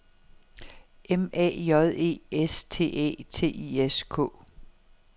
M A J E S T Æ T I S K